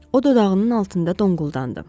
O dodağının altında donquldandı.